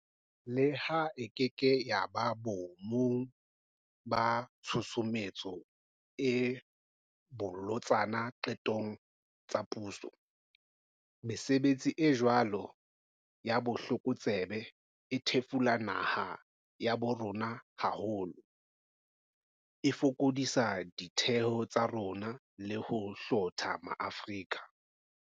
Leha e keke ya ba boe mong ba tshusumetso e bolotsana diqetong tsa puso, mesebetsi e jwalo ya botlokotsebe e thefula naha ya bo rona haholo, e fokodisa ditheo tsa rona le ho hlotha ma-Afrika.